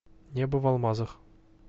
небо в алмазах